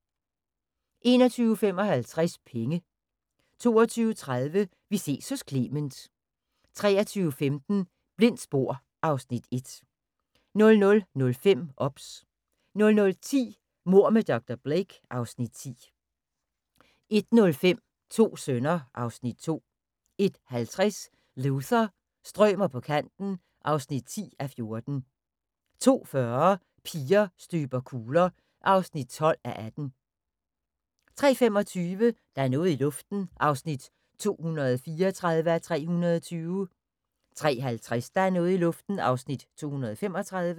21:55: Penge 22:30: Vi ses hos Clement 23:15: Blindt spor (Afs. 1) 00:05: OBS 00:10: Mord med dr. Blake (Afs. 10) 01:05: To sønner (Afs. 2) 01:50: Luther – strømer på kanten (10:14) 02:40: Piger støber kugler (12:18) 03:25: Der er noget i luften (234:320) 03:50: Der er noget i luften (235:320)